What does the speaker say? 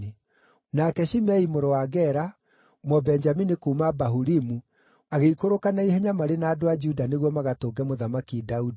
Nake Shimei mũrũ wa Gera, Mũbenjamini kuuma Bahurimu, agĩikũrũka na ihenya marĩ na andũ a Juda nĩguo magatũnge Mũthamaki Daudi.